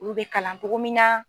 Olu be kalan togo min na